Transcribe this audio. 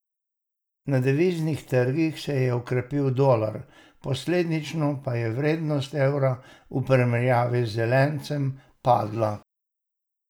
Na deviznih trgih se je okrepil dolar, posledično pa je vrednost evra v primerjavi z zelencem padla.